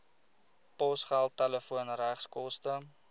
posgeld telefoon regskoste